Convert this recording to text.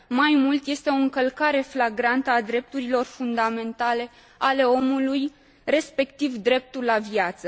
Mai mult, este o încălcare flagrantă a drepturilor fundamentale ale omului, respectiv dreptul la viață.